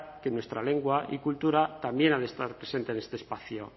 que nuestra lengua y cultura también ha de estar presente en este espacio